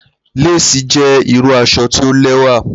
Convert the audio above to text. Lace jẹ iru aṣọ ti o lẹwa.